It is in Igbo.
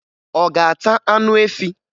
Ọ ga-ata anụ efi?